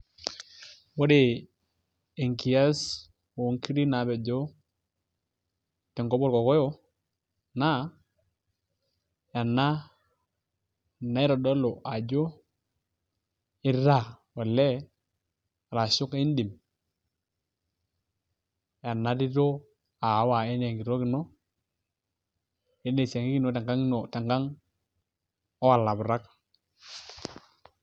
ore enkias, oonkiri naapejo te nkop olkokoyok, naa ena naitodolu ajo itaa olee, arshu pee idim ena tito aawa anaa enkitok ino anaa esiankiki ino tenakang oolaputak.